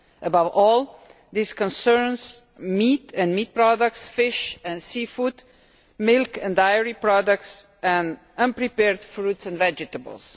Above all, this concerns meat and meat products, fish and seafood, milk and dairy products, and prepared fruits and vegetables.